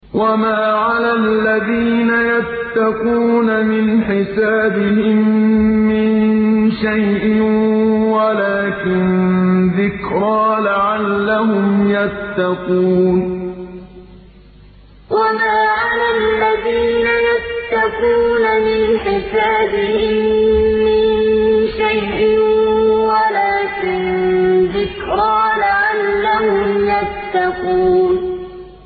وَمَا عَلَى الَّذِينَ يَتَّقُونَ مِنْ حِسَابِهِم مِّن شَيْءٍ وَلَٰكِن ذِكْرَىٰ لَعَلَّهُمْ يَتَّقُونَ وَمَا عَلَى الَّذِينَ يَتَّقُونَ مِنْ حِسَابِهِم مِّن شَيْءٍ وَلَٰكِن ذِكْرَىٰ لَعَلَّهُمْ يَتَّقُونَ